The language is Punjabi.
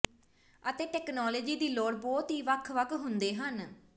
ਅਤੇ ਤਕਨਾਲੋਜੀ ਦੀ ਲੋੜ ਬਹੁਤ ਹੀ ਵੱਖ ਵੱਖ ਹੁੰਦੇ ਹਨ